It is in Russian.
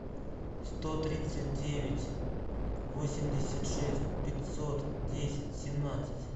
сто тридцать девять восемьдесят шесть пятьсот десять семнадцать